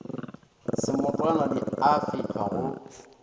semotwana di a fehlwa go